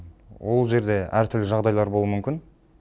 ол жерде әртүрлі жағдайлар болуы мүмкін